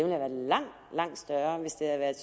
været langt langt større hvis det havde været